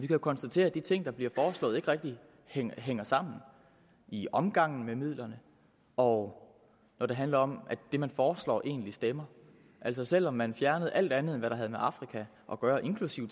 jo konstatere at de ting der bliver foreslået ikke rigtig hænger sammen i omgangen med midlerne og når det handler om at det man foreslår egentlig stemmer selv om man fjernede alt andet end hvad der havde med afrika at gøre inklusive